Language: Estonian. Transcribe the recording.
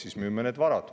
Siis müüme need varad.